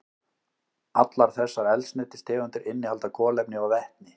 Allar þessar eldsneytistegundir innihalda kolefni og vetni.